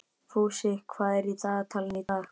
Fúsi, hvað er í dagatalinu í dag?